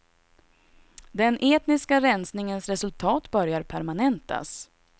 Den etniska rensningens resultat börjar permanentas.